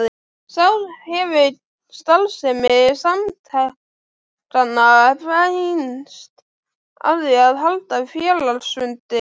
Þá hefur starfsemi samtakanna beinst að því að halda félagsfundi.